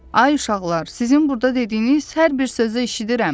Ay uşaqlar, sizin burda dediyiniz hər bir sözü eşidirəm.